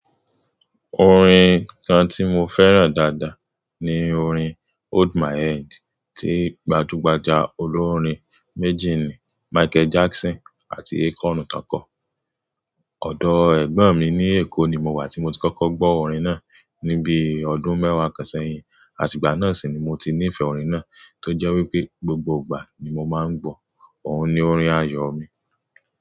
Orin kan ti mo fẹ́ràn dáadáa ni orin Hold My Hand tí gbajúgbajà olórin méjèèni Michael Jackson àti Akon tàn ká. Ọ̀dọ̀ ẹ̀gbọ́n mi ní Èkó ni mo wà tí mo ti kọ́kọ́ gbọ́ orin náà ní bíi ọdún mẹ́wàá kan sẹ́yìn, àti ìgbà náà sì ni mo ti nífẹ̀ẹ́ orin náà, tó jẹ́ wípé gbogbo ìgbà ni mo máa ń gbọ̀ ọ́n ni orin ayọ̀ mi.